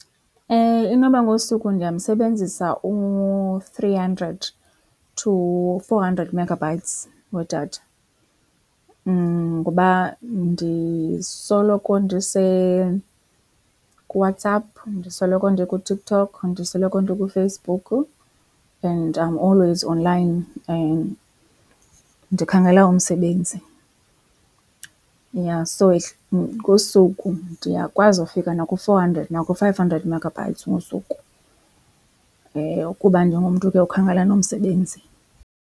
Inoba ngosuku ndiyamsebenzisa u-three hundred to four hundred megabytes wedatha. Ngoba ndisoloko ndise kuWhatsApp, ndisoloko ndikuTikTok, ndisoloko ndikuFacebook and I am always online ndikhangela umsebenzi. Yha so ngosuku ndiyakwazi ufika naku-four hundred naku-five hundred megabytes ngosuku kuba ndingumntu ke okhangela nomsebenzi.